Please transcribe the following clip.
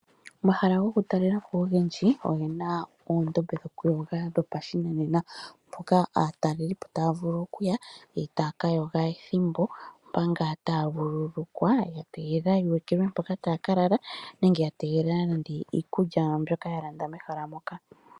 Omahala gokutalela po ogendji ogena oondombe dhokuyoga dhopashinanena, mpoka aatalelipo taya vulu okuya etaya kayoga ethimbo mpa ngaa taya vuululukwa yategelela yuulukilwe mpoka taya kalala nenge ya tegelela iikulya yawo mbyoka yalanda mehala moka.